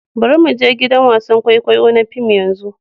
Bari mu je gidan wasan kwaikwayo na fim yanzu.